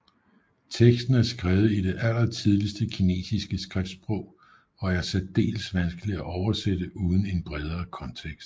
Teksten er skrevet i det allertidligste kinesiske skriftsprog og er særdeles vanskeligt at oversætte uden en bredere kontekst